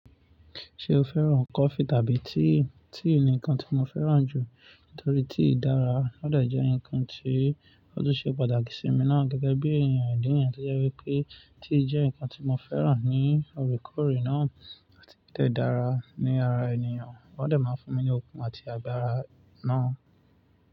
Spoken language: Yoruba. Ṣé o fẹ́ràn cofee tàbí tea? Tea ni nǹkan tí mo fẹ́ràn jù nítorí tea dára. Ó de jẹ́ ǹkan tí ó tún ṣe pàtàkì sí mi náà gẹ́gẹ́ bí èèyàn ìdí ni yẹ́n tó jẹ́ wípé tea jẹ́ ǹkan tí mo fẹ́ràn ní òrékòrè náà àti o dẹ́ dára ní ara ènìyàn. Ó de máa ń fún mi ní okun àti agbára náà.